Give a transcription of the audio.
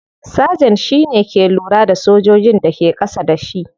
Sergeant shi ke lura da sojojin da ke kasa da shi.